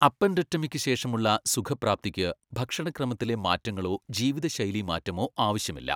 അപ്പെൻഡെക്ടമിക്ക് ശേഷമുള്ള സുഖപ്രാപ്തിക്ക് ഭക്ഷണക്രമത്തിലെ മാറ്റങ്ങളോ ജീവിതശൈലി മാറ്റമോ ആവശ്യമില്ല.